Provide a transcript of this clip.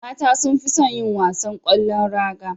Mata sunfison yin wasan kwallon raga